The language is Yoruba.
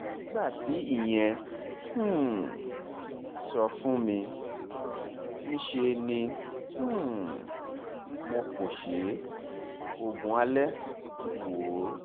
nígbà tí ìyẹn um sọ fún mi níṣẹ́ ni um mo pọsẹ̀ oògùn alẹ́ wo